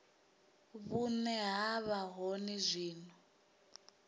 vhune ha vha hone zwino